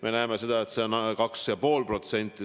Me näeme seda, et see on 2,5%.